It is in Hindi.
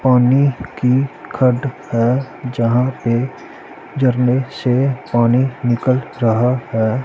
पानी की खड़ है जहां पे जरने से पानी निकल रहा है।